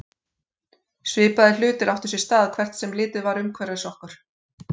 Svipaðir hlutir áttu sér stað hvert sem litið var umhverfis okkur.